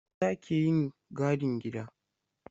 Maza ke yin gadin gida.